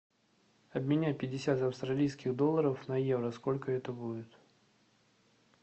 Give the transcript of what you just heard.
обменять пятьдесят австралийских долларов на евро сколько это будет